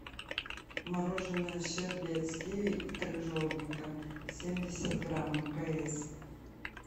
мороженое щербет с киви и крыжовником семьдесят грамм мкс